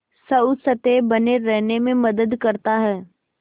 स्वस्थ्य बने रहने में मदद करता है